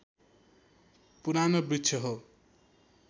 पुरानो वृक्ष हो